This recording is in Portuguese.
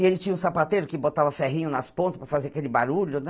E ele tinha um sapateiro que botava ferrinho nas pontas para fazer aquele barulho, né?